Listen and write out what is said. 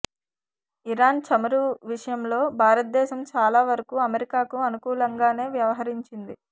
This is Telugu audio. ఇరాన్ చమురు విషయంలో భారతదేశం చాలా వరకు అమెరికాకు అనుకూలంగానే వ్యవహరించింది